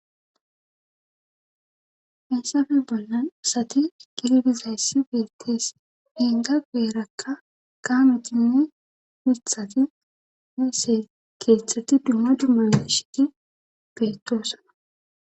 hessafe bollan isati gilbizayssi beettees giinga geerakka Kaametinne mithati nisse keethtshetti dumma dummane shidi beettoossana